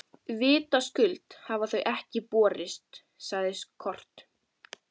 Vitaskuld hafa þau ekki borist, sagði Kort.